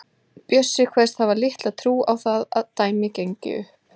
Bjössi kveðst hafa litla trú á að það dæmi gangi upp.